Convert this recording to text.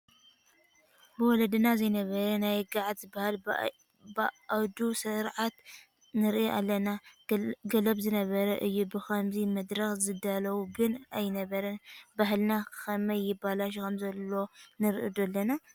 ብወለድና ዘይነበረ ናይ ገዓት ዝበሃል ባእድ ስርዓት ንርኢ ኣለና፡፡ ገለብ ዝነበረ እዩ ብኸምዚ መድረኽ ዝዳለወሉ ግን ኣይነበረን፡፡ ባህልና ከመይ ይበላሾ ከምዘሎ ንርኢ ዶ ኣለና?